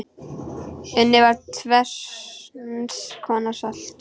Unnið var tvenns konar salt.